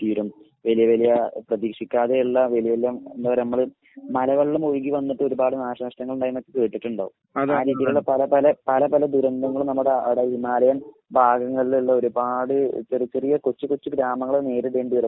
തീരും. വലിയ വലിയ പ്രതീക്ഷിക്കാതെയുള്ള വലിയ ഒന്നോ രണ്ടോ മലവെള്ളം ഒഴുകി വന്നിട്ട് ഒരുപാട് നാശനഷ്ടങ്ങൾ ഉണ്ടായി എന്നൊക്കെ കേട്ടിട്ടുണ്ടാകും. പല പല ദുരന്തങ്ങളും നമ്മുടെ അവിടെ ഹിമാലയം ഭാഗങ്ങളിൽ ഉള്ള ഒരുപാട് ഇത്തരം ചെറിയ കൊച്ചു കൊച്ചു ഗ്രാമങ്ങൾ നേരിടേണ്ടി വരും.